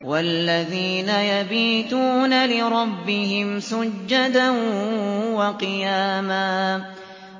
وَالَّذِينَ يَبِيتُونَ لِرَبِّهِمْ سُجَّدًا وَقِيَامًا